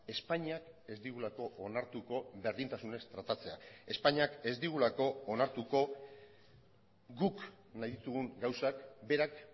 espainiak ez digulako onartuko berdintasunez tratatzea espainiak ez digulako onartuko guk nahi ditugun gauzak berak